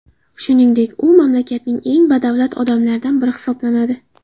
Shuningdek, u mamlakatning eng badavlat odamlaridan biri hisoblanadi.